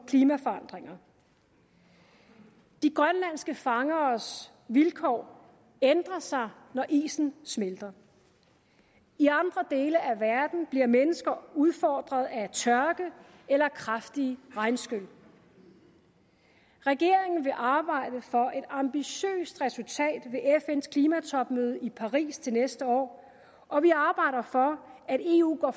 klimaforandringer de grønlandske fangeres vilkår ændrer sig når isen smelter i andre dele af verden bliver mennesker udfordret af tørke eller kraftige regnskyl regeringen vil arbejde for et ambitiøst resultat ved fns klimatopmøde i paris til næste år og vi arbejder for at eu går